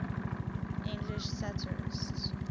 english satirists